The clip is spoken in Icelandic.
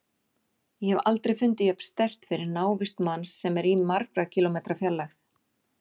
Ég hef aldrei fundið jafn sterkt fyrir návist manns sem er í margra kílómetra fjarlægð.